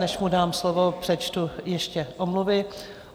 Než mu dám slovo, přečtu ještě omluvy.